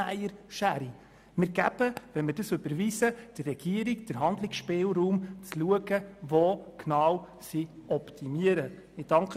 Wenn wir diese Forderung überweisen, geben wir der Regierung stattdessen einen Handlungsspielraum, um zu schauen, wo sie optimieren kann.